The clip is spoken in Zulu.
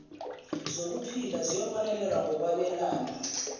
zokuphila ziyobonelelwa ngokwabelana